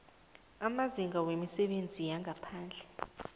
amazinga wemisebenzi yangaphandle